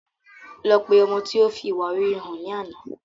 Lọ pe ọmọ tí ó fi ìwà rere hàn ní àná